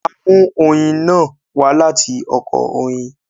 A mú oyin náà wá láti Oko Oyin